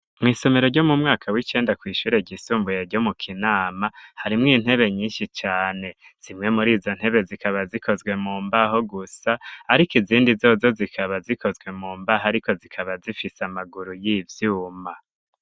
Mw'isomero, ryo mu mwaka w'icenda, kw'ishure ryisumbuye ryo mu Kinama, harimwo intebe nyinshi cane; zimwe muri izo ntebe, zikaba zikozwe mu mbaho gusa, ariko izindi zozo, zikaba zikozwe mu mbaho, ariko zikaba zifise amaguru y'ivyuma.